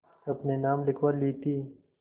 अपने नाम लिखवा ली थी